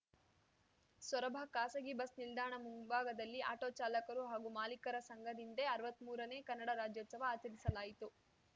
ಸೊರಬ ಖಾಸಗಿ ಬಸ್‌ ನಿಲ್ದಾಣ ಮುಂಭಾಗದಲ್ಲಿ ಆಟೋ ಚಾಲಕರು ಹಾಗೂ ಮಾಲೀಕರ ಸಂಘದಿಂದೇ ಅರ್ವತ್ಮೂರನೇ ಕನ್ನಡ ರಾಜೋತ್ಸವ ಆಚರಿಸಲಾಯಿತು